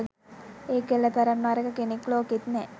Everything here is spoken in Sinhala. ඒ කෙල්ල තරම් නරක කෙනෙක් ලෝකෙත් නෑ